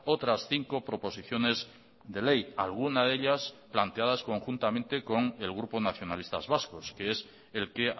otras cinco proposiciones de ley alguna de ellas planteadas conjuntamente con el grupo nacionalistas vascos que es el que